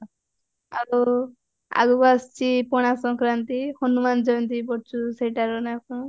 ଆଉ ଆଗକୁ ଆସୁଚି ପଣାଶଙ୍କରାନ୍ତି ହନୁମାନ ଜୟନ୍ତୀ ବି ପଡୁଚି ସେଇଟାର ନାଁ କଣ